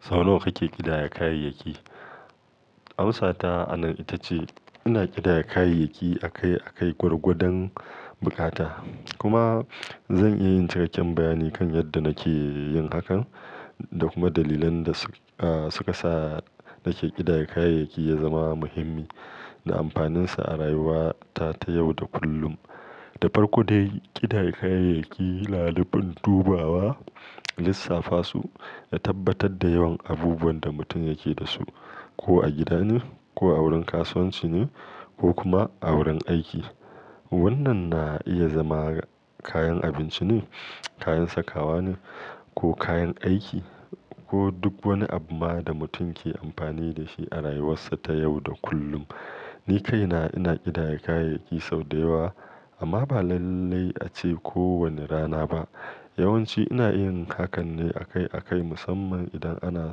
Sau nawa kake ƙidaya kayayyaki? Amsata a nan ita ce ina ƙidaya kayayyaki akai akai gwargwadon bukata. Kuma zan iya yin cikakken bayani kan yadda nake yin hakan da kuma dalilan da su ka sa nake ƙidaya kayayyaki ya zama muhimmi da amfaninsa a rayuwata ta yau da kullum. Da farko dai, ƙidaya kayayyaki na da ban dubawa, lissafa su, ya tabbatar da yawan abubuwan da mutum yake da su, ko a gida ne ko a wurin kasuwanci ne ko kuma a wurin aiki. Wannan na iya zama kayan abinci ne, kayan sakawa ne ko kayan aiki ko duk wani abu ma da mutum ke amfani da shi a rayuwarsa ta yau da kullum. Ni kaina ina ƙidaya kayayyaki sau da yawa amma ba lallai a ce kowane rana ba. Yawan ci ina yin hakan ne akai akai, musamman idan ana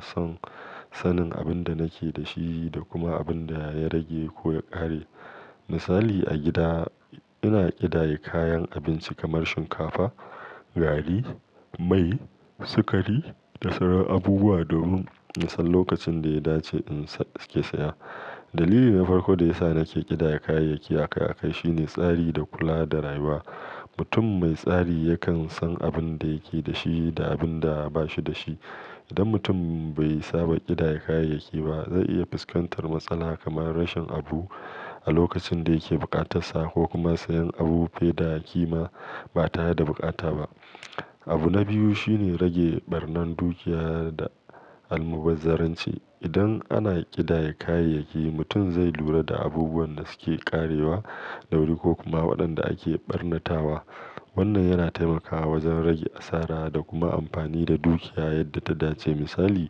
son sanin abin da nake da shi da kuma abin da ya rage ko ya ƙare. Misali, a gida ina ƙidaya kayan abinci kamar shinkafa, gari, mai, sukari da sauran abubuwa domin in sanin lokacin da ya dace in sake saya. Dalili na farko da ya sa nake ƙidaya kayayyaki akai akai shine tsari da kula da rayuwa. Mutum mai tsari yakan san abin da yake da shi da abin da ba shi da shi. Idan mutum bai saba ƙidaya kayayyaki ba, zai iya fuskantar matsala kamar rashin abu a lokacin da yake bukata sa ko kuma sayen abu fiye da kima ba tare da bukata ba. Abu na biyu shine rage ɓarnan dukiya da almubazzaranci. Idan ana ƙidaya kayayyaki, mutum zai lura da abubuwan da suke ƙarewa da wuri ko kuma waɗanda ake ɓarnatawa. Wannan yana taimakawa wajen rage asara da kuma amfani da dukiya yadda ta dace. Misali,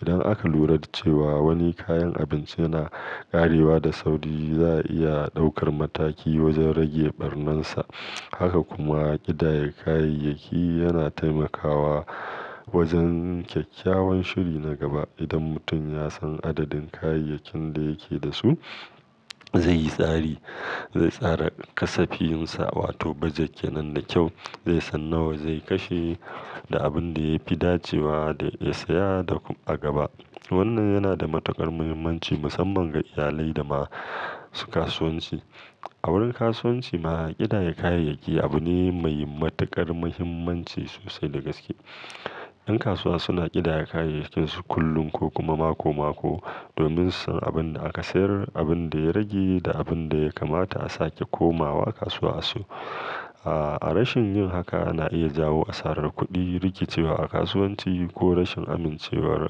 idan aka lura da cewa wani kayan abinci yana ƙarewa da sauri, za a iya ɗaukar mataki wajen rage ɓarnan sa. Haka kuma ƙidaya kayayyaki yana taimakawa wajen kyakkyawan shiri na gaba. Idan mutum ya san adadin kayayyakin da yake da su, zai yi tsari, zai tsara kasafiyinsa, wato bajet, kenan da kyau, zai san nawa zai kashe da abin da ya fi dacewa da ya saya a gaba. Wannan yana da matuƙar muhimmanci musamman ga iyalai da masu kasuwanci. A wurin kasuwanci ma ƙidaya kayayyaki abu ne mai matuƙar muhimmanci sosai da gaske. Yan kasuwa suna ƙidaya kayayyakin su kullum ko kuma mako mako domin su san abin da aka sayar, abin da ya rage da abin da ya kamata a sake komawa kasuwa asayo. A rashin yin haka ana iya jawo asarar kuɗi, rikicewa a kasuwanci ko rashin amincewar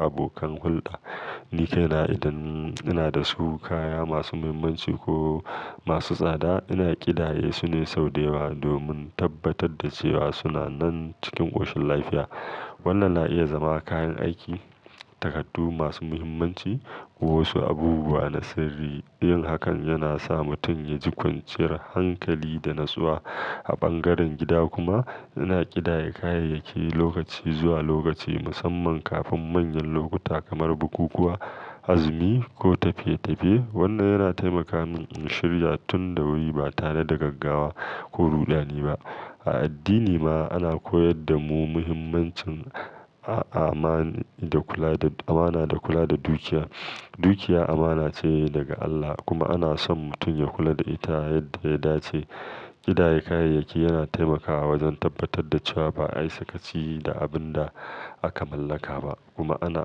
abokan hulɗa. Ni kaina idan ina da su kaya masu muhimmanci ko masu tsada ina ƙidaye su ne sau da yawa domin tabbatar da cewa suna nan cikin ƙoshin lafiya. Wannan na iya zama kayan aiki, takardu masu muhimmanci ko wasu abubuwa na sirri. Yin hakan yana sa mutum ya ji kwanciyar hankali da natsuwa a ɓangaren gida. Kuma ina ƙidaya kayayyaki lokaci zuwa lokaci musamman kafin manyan lokuta kamar bukukuwa, azumi ko tafiye tafiye. Wannan yana taimaka min in shirya tun da wuri ba tare da gaggawa ko ruɗani ba. A addini ma ana koyar da mu muhimmancin amana da kula da dukiya. Dukiya amana ce daga Allah kuma ana so mutum ya kula da ita yadda ya dace. Ƙidaya kayayyaki yana taimakawa wajen tabbatar da cewa ba ayi sakaci da abin da aka mallaka ba kuma ana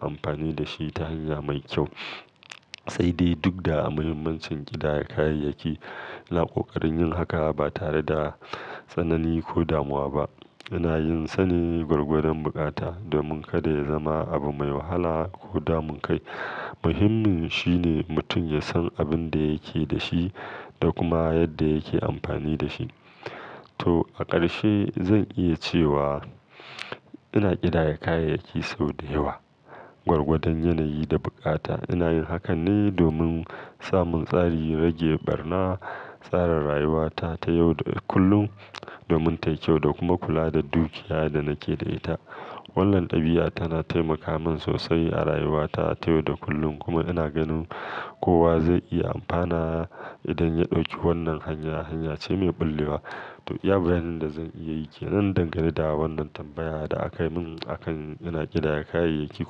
amfani da shi ta hanya mai kyau. Sai dai duk da muhimmancin ƙidaya kayayyaki, Ana kokarin yin haka ba tare da tsanani ko damuwa ba. Ina yin sane gwargwadon bukata domin kada ya zama abu mai wahala ko damun kai. Muhimmin shine mutum ya san abin da yake da shi da kuma yadda yake amfani da shi. To a ƙarshe zan iya cewa ina ƙidaya kayayyaki sau da yawa gwargwadon yanayi da bukata. Ina yin hakan ne domin samun tsari, rage ɓarna, tsara rayuwata ta yau da kullum domin tayi kyau da kuma kula da dukiya da nake da ita. Wannan ɗabi'a tana taimaka min sosai a rayuwata ta yau da kullum kuma ina ganin kowa zai iya amfana idan ya ɗauki wannan hanya. Hanya ce mai ɓallewa. To iya bayanin da zan iya yi ke nan dangane da wannan tambayar da aka yi mun akan ina ƙidaya kayayyaki kuma.